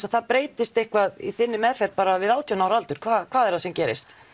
að það breytist eitthvað í þinni meðferð bara við átján ára aldur hvað er það sem gerist